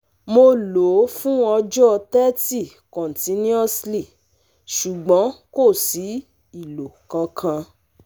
Mo lò ó fún ọjọ́ Thrity continuously, ṣùgbọ́n kò sí ìlò kankan